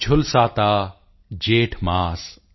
ਝੁਲਸਾਤਾ ਜੇਠ ਮਾਸ